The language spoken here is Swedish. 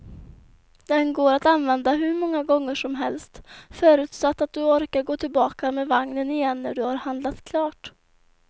Den går att använda hur många gånger som helst, förutsatt att du orkar gå tillbaka med vagnen igen när du har handlat klart.